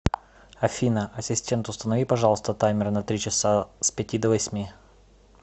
афина ассистент установи пожалуйста таймер на три часа с пяти до восьми